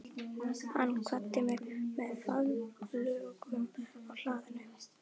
Hann kvaddi mig með faðmlögum á hlaðinu.